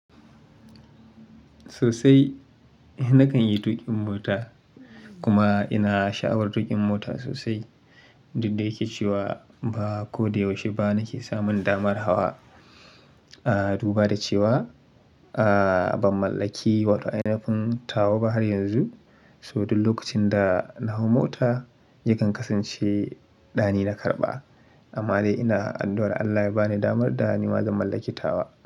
Sosai nakan yi tuƙin mota kuma ina sha'awar tuƙin mota sosai, duk da yake cewa ba ko da yaushe ba nake samun damar hawa. Duba da cewa ba mu mallaki wata ainafin tawa ba har yanzu, so duk lokacin da na hau mota yakan kasance ɗani na karɓa. Amma dai ina addu'ar Allah ya ba ni damar da nima zan mallaki tawa.